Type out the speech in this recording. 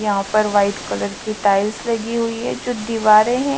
यहां पर white colour की टाइल्स लगी हुई है जो दीवारें हैं।